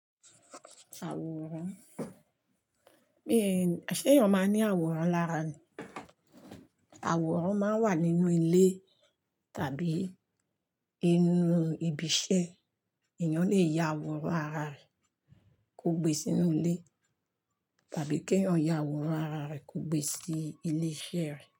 Àwòrán, bí i, ṣé èèyàn máa ní àwòrán lára ni? Àwòrán máa ń wà nínú ilé tàbí inú ibi iṣẹ́. Ẹ̀eyàn lè ya àwòrán ara rẹ̀ kó gbé sínú ilé tàbí kí èèyàn ya àwòrán ara rẹ̀ kó gbé sí ilé iṣẹ́ rẹ̀